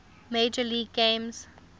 major league game